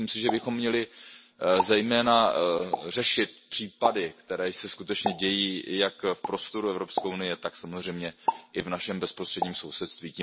Myslím si, že bychom měli zejména řešit případy, které se skutečně dějí jak v prostoru Evropské unie, tak samozřejmě i v našem bezprostředním sousedství.